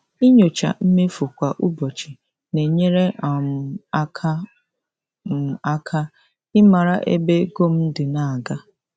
Ịnyocha mmefu kwa ụbọchị na-enyere um m aka m aka ịmara ebe ego m dị na-aga.